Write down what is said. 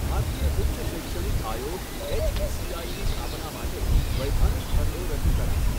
ભારતીય ઉચ્ચ શૈક્ષણિક આયોગ એચઇસીઆઇની સ્થાપના માટે વૈધાનિક ખરડો રજૂ કરાશે.